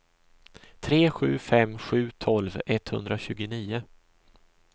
tre sju fem sju tolv etthundratjugonio